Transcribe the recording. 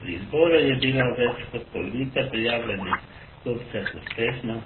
Pri izboru je bila več kot polovica prijavljenih kupcev uspešna,